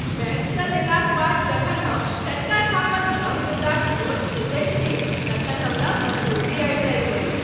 बैंकसँ लेलाक बाद जखन हम टटका छापल नव मुद्राक नोट सुँघैत छी तखन हमरा मदहोशी आबि जाएत अछि।